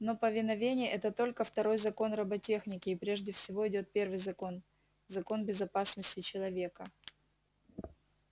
но повиновение это только второй закон роботехники и прежде всего идёт первый закон закон безопасности человека